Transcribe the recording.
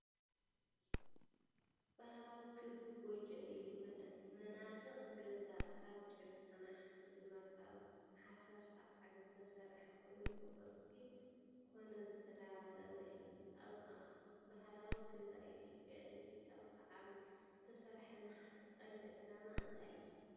ባህላዊ ክቢ ጎጆ እዩ። መናድቕ ገዛ ካብ ጭቃ፡ ናሕሲ ድማ ካብ ሓሰር ሳዕሪ ዝተሰርሐ ኮይኑ፡ ብቅርጺ ኮኖ ዝተደራረበ እዩ። ኣብ ባህላዊ ገዛ ኢትዮጵያ፡ እቲ ካብ ሳዕሪ ዝተሰርሐ ናሕሲ ቀንዲ ዕላማ እንታይ እዩ?